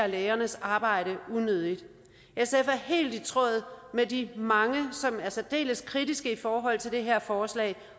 lægernes arbejde unødigt sf er helt i tråd med de mange som er særdeles kritiske i forhold til det her forslag